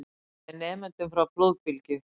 Bjargaði nemendum frá flóðbylgju